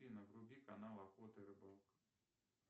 афина вруби канал охота и рыбалка